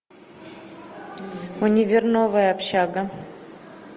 универ новая общага